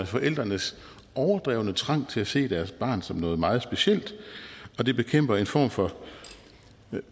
forældrenes overdrevne trang til at se deres barn som noget meget specielt og det bekæmper en form for